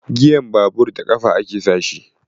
Giyan babur da ƙafa ake sa shi.